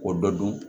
K'o dɔ dun